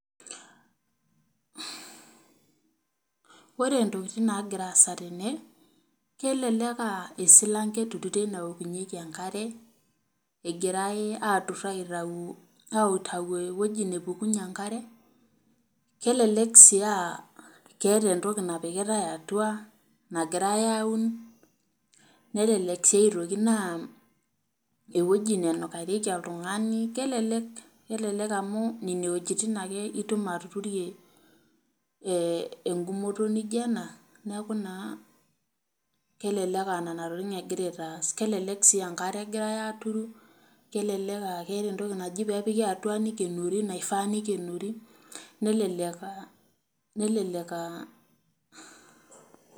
Ore ntokitin naagira aasa tene naa kelelek aa esilanke egirai aaturu tene naokunyieki enkare egirai aatur aitayu ewueji nepukunyie enkare. Kelelek sii aa keetae entoki nagirai aapik atua nelelek sii aitoki naa ewueji nenukarioli oltungani. Kelelek amu ore nena wuejitin ake itum atuturi enkumoto niijio ena kelelek aa nenatokitin egirai aitaas. Kelelek sii aa enkare egirai aaturu, kelelek aah keetae entoki naji pee epiki atua naifaa nekenori. Nelelek aaa nelelek aah